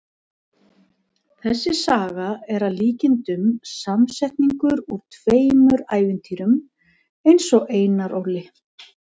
Þessi saga er að líkindum samsetningur úr tveimur ævintýrum eins og Einar Ól.